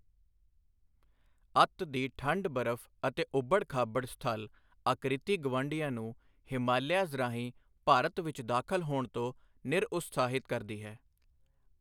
ਅੱਤ ਦੀ ਠੰਢ ਬਰਫ ਅਤੇ ਉੱਭੜ ਖਾਬੜ ਸਥਲ ਆਕ੍ਰਿਤੀ ਗਵਾਂਢੀਆਂ ਨੂੰ ਹਿਮਾਲੀਆਜ਼ ਰਾਹੀਂ ਭਾਰਤ ਵਿਚ ਦਾਖਲ ਹੋਣ ਤੋਂ ਨਿਰਉਤਸਾਹਿਤ ਕਰਦੀ ਹੈ।